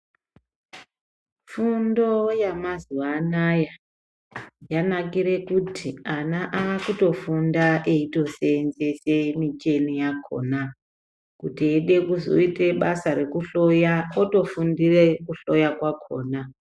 Fundo yamazuwaanaya yanakire kuti ana akutofunda eitoseenzese micheni yakhona, kuti eide kuzoite basa rekuhloya otofundire kuhloya kwakhona.